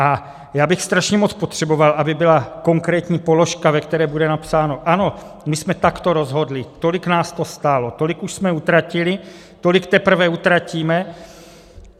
A já bych strašně moc potřeboval, aby byla konkrétní položka, ve které bude napsáno ano, my jsme takto rozhodli, tolik nás to stálo, tolik už jsme utratili, tolik teprve utratíme.